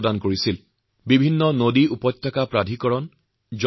তেওঁৰ দৰে দূৰদৰ্শী ব্যক্তিয়ে সেইসময়তেই নদী আৰু উপত্যকা পৰিচালন সংসদৰ কথা কৈছিল